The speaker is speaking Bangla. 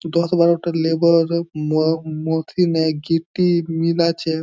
দশ বারোটা লেবার আরো ম-মথিনে -এ গিট -টি মিলাচ্ছে।